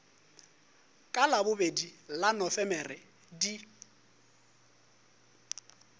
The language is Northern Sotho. ka labobedi la nofemere di